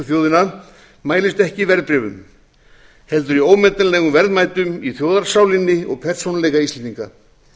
þjóðina mælist ekki í verðbréfum heldur í ómetanlegum verðmætum í þjóðarsálinni og persónuleika íslendinga þess vegna